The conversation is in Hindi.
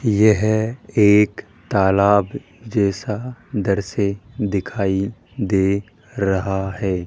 यह एक तलाब जैसा इधर से दिखाई दे रहा है।